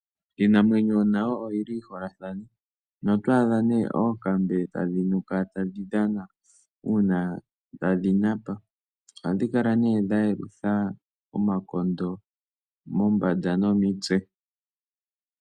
Iinamwenyo nayo oyi li yi holathane, noto adha ne oonkambe tadhi nuka tadhi dhana, uuna tadhi napa. Oha dhi kala ne dha yelutha omakondo mombanda nomitse.